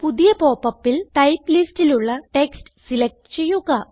പുതിയ popupൽ ടൈപ്പ് ലിസ്റ്റിലുള്ള ടെക്സ്റ്റ് സിലക്റ്റ് ചെയ്യുക